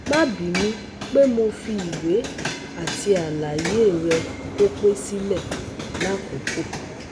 Ma binu pe mo fi iwe ti alaye re ko pe sile lakoko